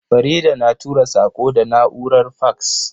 Farida na tura saƙo da na'urar faks.